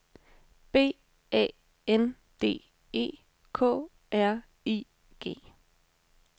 B A N D E K R I G